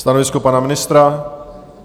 Stanovisko pana ministra?